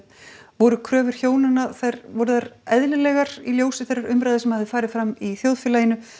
voru kröfur hjónanna voru þær eðlilegar í ljósi þeirrar umræðu sem hafði farið fram í þjóðfélaginu